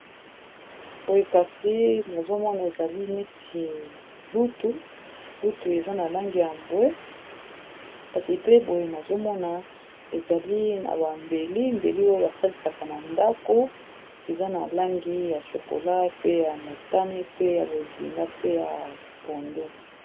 Boi kasi nazomona ezali neti utulutu eza na langi ya bwe, kasi pe boye nazomona ezali na bambeli mbeli oyo basalisaka na ndako eza na langi ya shokola, pe ya motane, pe ya bozinga pe ya pondo